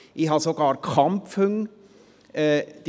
ich habe sogar Kampfhunde.